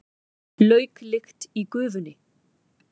Lauklykt í gufunni.